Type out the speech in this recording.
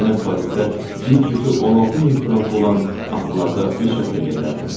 Yenə Parisdə bir cütü 16 min frank olan atlarda üç həftə gəzərdim.